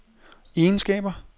egenskaber